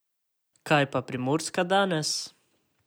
Kaj pa Primorska danes?